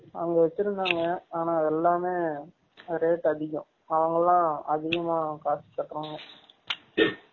அங்க வச்சு இருந்தாங்க ஆனா எல்லமே rate அதிகம் அவங்கலாம் அதிகமா காசு கேகுராங்க